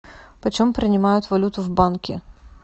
почем принимают валюту в банке